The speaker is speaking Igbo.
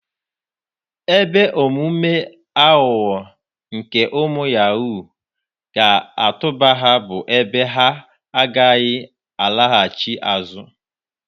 Ebe omume aghụghọ nke ụmụ yahuu ga-atụba ha bụ ebe ha a gaghị alaghachi azụ.